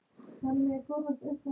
Af öllu tilefni og engu.